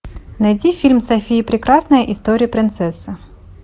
найти фильм софия прекрасная история принцессы